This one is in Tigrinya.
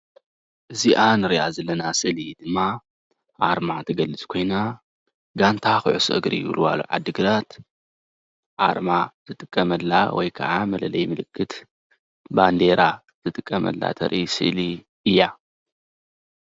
እዚአ እንሪአ ዘለና ስእሊ ድማ አርማ እትገልፅ ኮይና ጋንታ ኩዕሶ እግሪ ወልዋሎ ዓዲ ግራት አርማ ዝጥቀመላ ወይከዓ መለለዪ ምልክት ባንዴራ ዝጥቀመላ ተርኢ ስእሊ እያ።